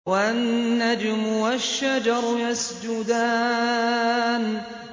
وَالنَّجْمُ وَالشَّجَرُ يَسْجُدَانِ